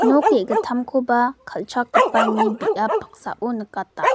nok ge·gittamkoba kal·chakgipani biap damsao nikata.